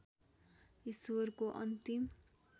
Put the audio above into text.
ईश्वरको अन्तिम